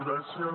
gràcies